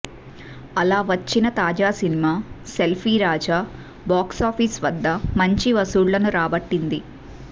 అలా వచ్చిన తాజా సినిమా సేల్ఫీ రాజా బాక్సాఫీస్ వద్ద మంచి వసూళ్ళని రాబట్టింది